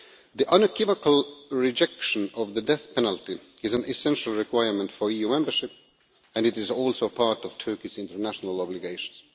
The unequivocal rejection of the death penalty is an essential requirement for EU membership, and it is also part of Turkey's international obligations.